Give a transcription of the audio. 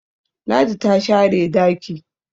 Ladi ta share daki